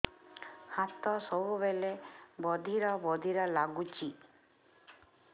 ହାତ ସବୁବେଳେ ବଧିରା ବଧିରା ଲାଗୁଚି